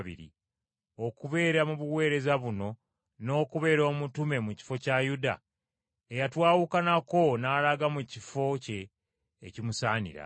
okubeera mu baweereza buno n’okubeera omutume mu kifo kya Yuda eyatwawukanako n’alaga mu kifo kye ekimusaanira.”